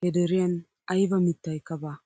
he deriyan ayba mittaykka baa.